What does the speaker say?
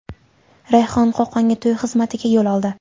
Rayhon Qo‘qonga to‘y xizmatiga yo‘l oldi.